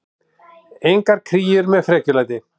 Engar kríur með frekjulæti.